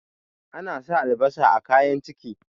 ana sa albasa a kayan ciki